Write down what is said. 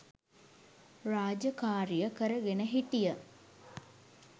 රාජකාරිය කරගෙන හිටිය.